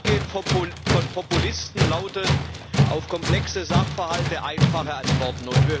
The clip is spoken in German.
Das Vorgehen von Populisten lautet auf komplexe Sachverhalte einfache Antworten.